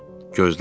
Gözlədi.